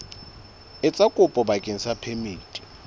etsa kopo bakeng sa phemiti